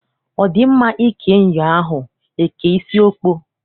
Ọ dị mma ike nyụọ ahụ, e kee isi ọkpọ?